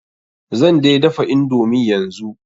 Zan dai dafa indomi yanzu.